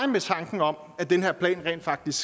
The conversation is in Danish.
med tanken om at den her plan rent faktisk